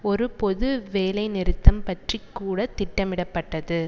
ஒரு பொது வேலை நிறுத்தம் பற்றி கூட திட்டமிடப்பட்டது